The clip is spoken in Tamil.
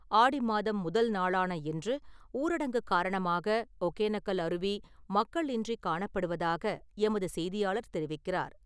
ஆடி மாதம் முதல் நாளான இன்று ஊரடங்கு காரணமாக ஒகேனக்கல் அருவி மக்கள் இன்றிக் காணப்படுவதாக எமது செய்தியாளர் தெரிவிக்கிறார்.